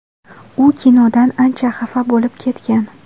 U kinodan ancha xafa bo‘lib ketgan.